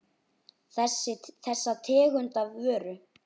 Þessa tegund af vöru.